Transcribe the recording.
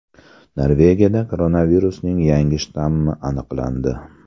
Norvegiyada koronavirusning yangi shtammi aniqlandi.